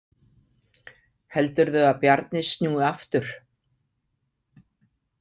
Heldurðu að Bjarni snúi aftur?